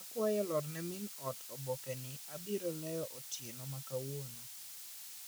Akwayo iorne min ot oboke ni abiro leo otieno makawuono.